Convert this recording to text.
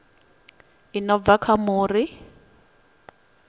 i no bva kha muri